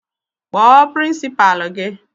Kpọọ pirinsipalu gị!